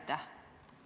Aitäh!